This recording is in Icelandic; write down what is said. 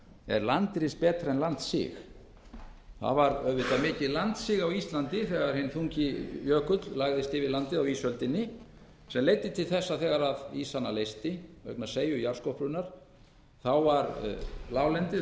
er landris betra en landsig það var auðvitað mikið landsig á íslandi þegar hinn þungi jökull lagðist yfir landið á ísöld sem leiddi til þess að þegar ísana leysti vegna seigju jarðskorpunnar var láglendið